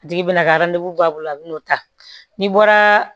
A tigi bina ka bɔ a bolo a bin'o ta n'i bɔra